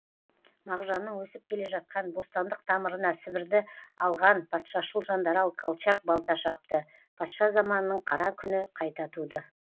мағжанның өсіп келе жатқан бостандық тамырына сібірді алған патшашыл жандарал колчак балта шапты патша заманының қара күні қайта туды